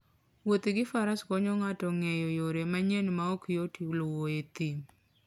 Wuoth gi faras konyo ng'ato ng'eyo yore manyien ma ok yot luwo e thim.